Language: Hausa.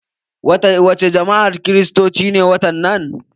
Wa ce jama'ar kiristoci ne waɗannan?